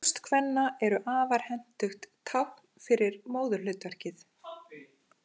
Brjóst kvenna eru afar hentugt tákn fyrir móðurhlutverkið.